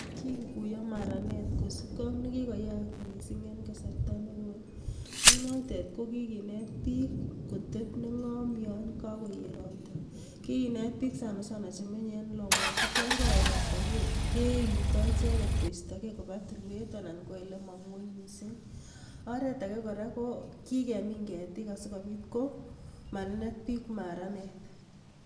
Kikikuyo maranet kosipke ak nekikoyak missing en kasarta nekoi ak notet kokikinet biik kotep neng'om yon koket ropta ,kikinet biik sanasana chemenye en lomotik yongoet ropta keuto icheket koistogee kopaa tulwet anan ole mong'oi missing oretake kora kokikemin ketik asikopit ko manenet biik maranet.